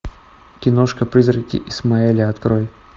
киношка призраки исмаэля открой